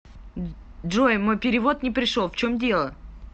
джой мой перевод не пришел в чем дело